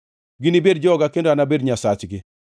Ginibed joga, kendo anabed Nyasachgi.